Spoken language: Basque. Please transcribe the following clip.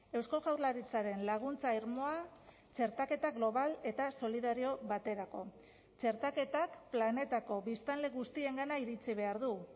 eusko jaurlaritzaren laguntza irmoa txertaketa global eta solidario baterako txertaketak planetako biztanle guztiengana iritsi behar du